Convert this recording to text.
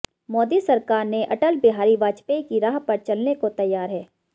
मोदी सरकार ने अटल बिहारी वाजपेयी की राह पर चलने को तैयार है